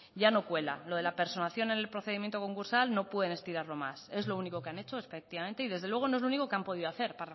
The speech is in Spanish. ya no cuela lo de la personación en el procedimiento concursal no pueden estirarlo más es lo único que han hecho y desde luego no es lo único que han podido hacer